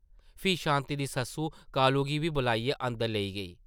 फ्ही शांति दी सस्स कालू गी बी बलाइयै अंदर लेई गेई ।